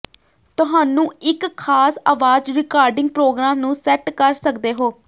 ਤੁਹਾਨੂੰ ਇੱਕ ਖਾਸ ਆਵਾਜ਼ ਰਿਕਾਰਡਿੰਗ ਪ੍ਰੋਗਰਾਮ ਨੂੰ ਸੈੱਟ ਕਰ ਸਕਦੇ ਹੋ